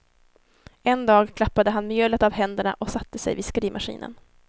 En dag klappade han mjölet av händerna och satte sig vid skrivmaskinen.